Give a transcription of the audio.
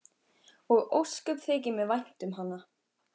Og ósköp þykir mér vænt um hana.